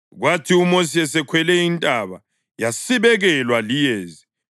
Kwathi uMosi esekhwele intaba, yasibekelwa liyezi,